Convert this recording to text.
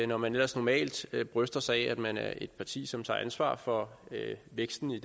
når man ellers normalt bryster sig af at man er et parti som tager ansvar for væksten i